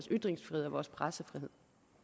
ytringsfrihed og vores pressefrihed